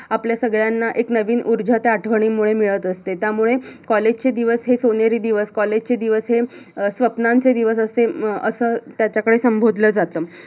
आपल्या सगळ्यांना एक नवीन उर्जा त्या आठवणींमुळे मिळत असते त्यामुळे college चे दिवस हे सोनेरी दिवस, college चे दिवस हे स्वप्नांचे दिवस असे हम्म अस त्याच्याकडे संबोधल जात